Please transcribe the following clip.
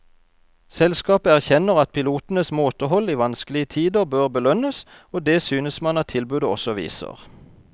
Selskapet erkjenner at pilotenes måtehold i vanskelige tider bør belønnes, og det synes man at tilbudet også viser.